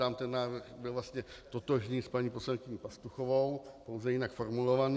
Tam ten návrh byl vlastně totožný s paní poslankyní Pastuchovou, pouze jinak formulovaný.